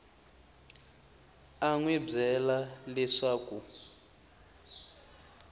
a n wi byela leswaku